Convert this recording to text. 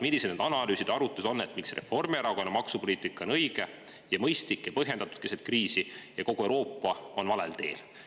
Millised need analüüsid ja arvutused on, mille järgi Reformierakonna maksupoliitika on õige ja mõistlik ja põhjendatud keset kriisi, aga kogu Euroopa on valel teel?